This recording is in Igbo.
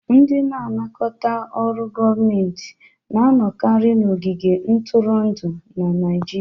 Ndị na-anakọta ọrụ gọọmentị na-anọkarị n'ogige ntụrụndụ na Naijiria.